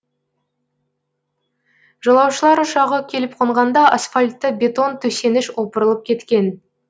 жолаушылар ұшағы келіп қонғанда асфальтты бетон төсеніш опырылып кеткен